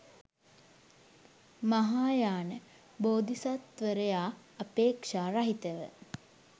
මහායාන බෝධිසත්වවරයා අපේක්‍ෂා රහිතව